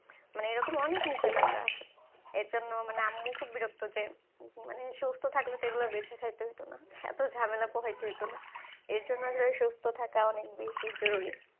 মানে এরকম অনেক নিষেধাজ্ঞা আছে, এজন্য আম্মু খুব বিরক্ত যে, মানে সুস্থ থাকলে এগুলা বেছে খাইতে হত না. এত ঝামেলা পোহাইতে হত না, এর জন্য সুস্থ থাকা জরুরি,